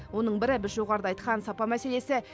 оның бірі біз жоғарыда айтқан сапа мәселесі